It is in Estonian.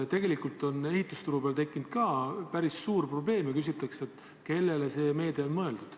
Tegelikult on ehitusturul tekkinud päris suur probleem ja küsitakse, kellele see meede on mõeldud.